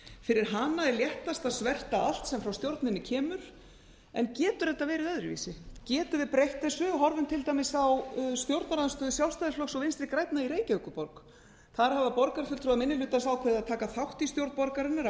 fyrir hana er léttast að sverta allt sem frá stjórninni kemur en getur auðvitað verið öðruvísi getum við breytt þessu horfum til dæmis á stjórnarandstöðu sjálfstæðisflokks og vinstri grænna í reykjavíkurborg þar hafa borgarfulltrúar minni hlutans ákveðið að taka þátt í stjórn borgarinnar af